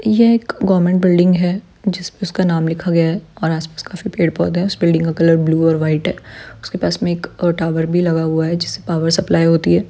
यह एक government building है जिसपे उसका नाम लिखा गया है और आसपास काफी पेड़-पौधे है इस बिल्डिंग का कलर ब्लू और व्हाइट है उसके पास में एक टॉवर भी लगा हुआ जिससे पावर सप्लाई होती है।